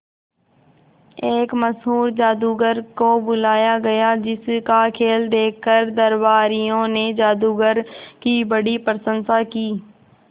एक मशहूर जादूगर को बुलाया गया जिस का खेल देखकर दरबारियों ने जादूगर की बड़ी प्रशंसा की